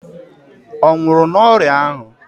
Ọ nwụrụ n'ọrịa ahụ?